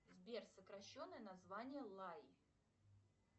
сбер сокращенное название лай